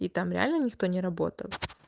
и там реально никто не работал